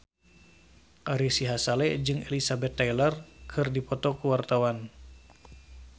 Ari Sihasale jeung Elizabeth Taylor keur dipoto ku wartawan